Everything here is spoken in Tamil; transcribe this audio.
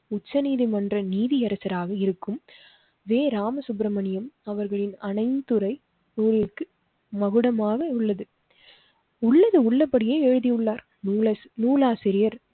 உச்ச நீதிமன்ற நீதியரச ராக இருக்கும் வே. ராம சுப்ரமணியன் அவர்களின் அனைத்து துறை ஊழலுக்கு மகுடமாக உள்ளது. உள்ளது உள்ளபடியே எழுதியுள்ளார் நூல் நூலாசிரியர்